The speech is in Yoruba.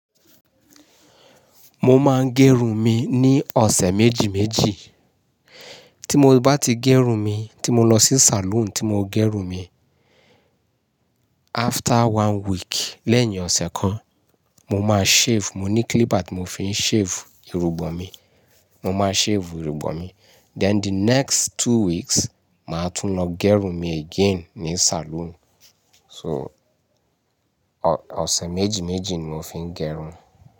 Mo máa ń ge'run mi ní ọ̀sẹ̀ méjì méjì. Tí mo bá ti gerun mi, tí mo lọ sí saloon tí mo gerun mi, after one week lẹ́yìn ọ̀sẹ̀ kan, mo máa shave, mo ní clipper ti mo fi ń shave irugbọ̀n mi. Mo máa shave irugbọ̀n mi. Then the next two weeks, màá tún lọ gẹrun mi again ní saloon. So, ọ̀sẹ̀ méjì méjì ni mo fi ń gẹrun.